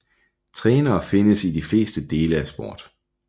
Trænere findes i de fleste dele af sport